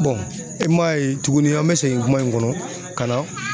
i man ye tuguni an mɛ segin kuma in kɔnɔ ka na.